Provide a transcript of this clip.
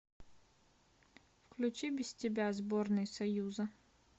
включи без тебя сборной союза